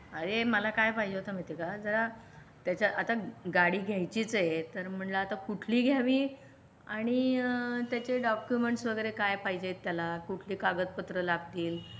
अरे मला काय पाहिजे होता महती आहे काय? जरा त्याच्या आता गाडी घ्यायचीच आहे तर मला आता कुठली घ्यावी आणि त्याचे डॉक्युमेंट्स वगैरे काय पाहिजे त्याला कुठे कागदपत्र लागतील ?